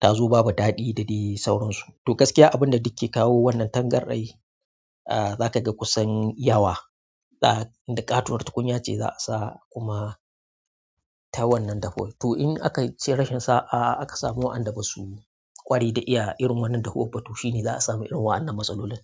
ta zo babu daɗi da dai sauransu. To gaskiya abin da duk ke kawo wannan tangarden, ah za ka ga kusan yawa da ƙaton wata tukunya ce za a sa kuma ta wannan dafun to in aka ce rashin sa'a aka samu wa'annan da ba su ƙwari da iya irin wannan dahu ba, to shi ne za a samu irin wa'annan matsaloli.